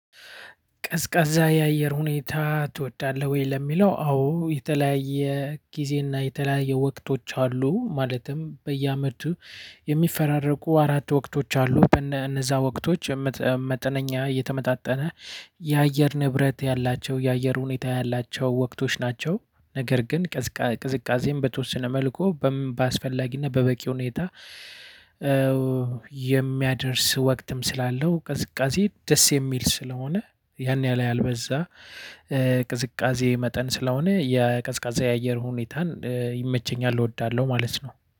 ቀዝቃዛ ያየር ሁኔታ ትወዳለህ ወይ? ለሚለው አዎ የተለያየ ጊዜና የተለያየ ወቅቶች አሉ ማለትም በየአመቱ የሚፈራረቁ አራት ወቅቶች አሉ። በነዛ ወቅቶች መጠነኛ እየተመጣጠነ ያየር ንብረት ያላቸው የአየር ሁኔታ ያላቸው ወቅቶች ናቸው። ነገር ግን ቅዝቃዜም በተወሰነ መልኩ በምን በአስፈላጊነት በበቂ ሁኔታ። የሚያደርስ ወቅትም ስላለው ቅዝቃዜ ደስ የሚል ስለሆነ ያን ያህል ያልበዛ ቅዝቃዜ መጠን ስለሆነ የቀዝቃዛ የአየር ሁኔታን ይመቸኛል እወዳለሁ ማለት ነው